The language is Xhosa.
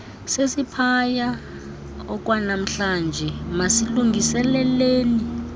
sesiphaya okwanamhlanje masilungiseleleni